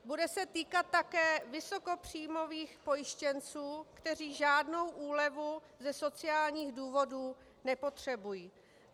Bude se týkat také vysokopříjmových pojištěnců, kteří žádnou úlevu ze sociálních důvodů nepotřebují.